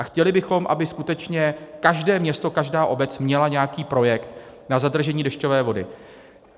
A chtěli bychom, aby skutečně každé město, každá obec měla nějaký projekt na zadržení dešťové vody.